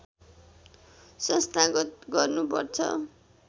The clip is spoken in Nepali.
संस्थागत गर्नुपर्छ